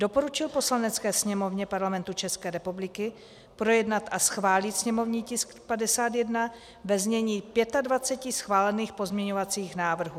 Doporučil Poslanecké sněmovně Parlamentu České republiky projednat a schválit sněmovní tisk 51 ve znění 25 schválených pozměňovacích návrhů.